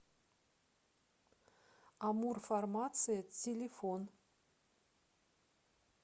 амурфармация телефон